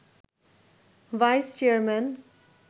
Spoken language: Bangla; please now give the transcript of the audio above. vice chairman